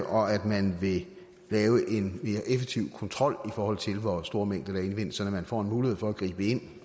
og at man vil lave en mere effektiv kontrol i forhold til hvor store mængder der indvindes sådan at man får en mulighed for at gribe ind